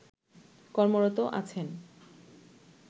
কর্মরত আছেন